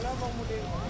Lolo Molodeç!